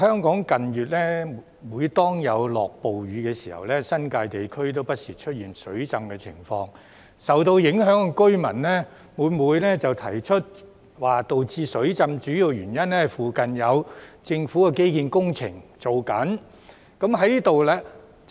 近月，每當香港出現暴雨，新界地區不時出現水浸的情況，而受影響居民每每表示導致水浸的主要原因，是附近有政府的基建工程正在進行。